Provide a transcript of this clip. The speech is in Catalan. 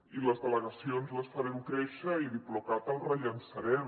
i les delegacions les farem créixer i diplocat el rellançarem